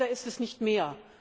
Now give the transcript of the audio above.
Aber leider ist es nicht mehr.